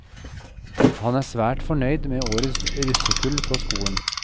Han er svært fornøyd med årets russekull på skolen.